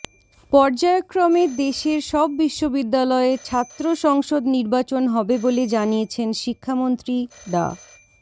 পর্যায়ক্রমে দেশের সব বিশ্ববিদ্যালয়ে ছাত্র সংসদ নির্বাচন হবে বলে জানিয়েছেন শিক্ষামন্ত্রী ডা